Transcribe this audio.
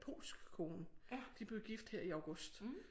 Polsk kone de blev gift her i august